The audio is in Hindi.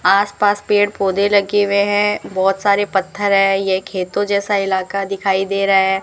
आसपास पेड़ पौधे लगे हुए हैं बहुत सारे पत्थर है ये खेतों जैसा इलाका दिखाई दे रहा है।